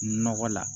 Nɔgɔ la